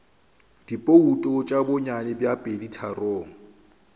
dibouto tša bonnyane bja peditharong